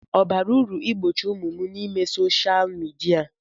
Ọ bara uru igbochi ụmụ m ime soshal midia?